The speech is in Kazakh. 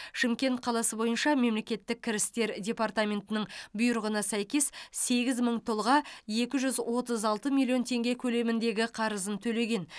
шымкент қаласы бойынша мемлекеттік кірістер департаментінің бұйрығына сәйкес сегіз мың тұлға екі жүз отыз алты миллион теңге көлеміндегі қарызын төлеген